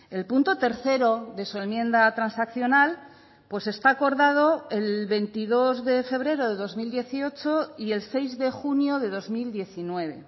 el punto tercero de su enmienda transaccional pues está acordado el veintidós de febrero de dos mil dieciocho y el seis de junio de dos mil diecinueve